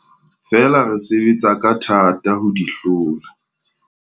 Feela re sebetsa ka thata ho di hlola.